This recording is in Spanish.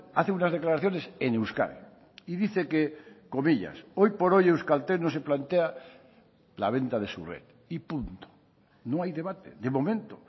hace unas declaraciones en euskadi y dice que comillas hoy por hoy euskaltel no se plantea la venta de su red y punto no hay debate de momento